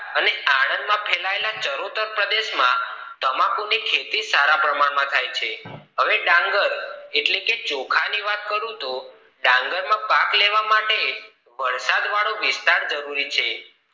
અને આનંદ માં ફેલાયેલા ચરોતર પ્રદેશમાં તમાકુ ની ખેતી સારા પ્રમાણ માં થાય છે હવે ડાંગર એટલે કે ચોખા ની વાત કરું તો ડાંગર માં પાક લેવા માટે વરસાદ વાળો વિસ્તાર જરૂરી છે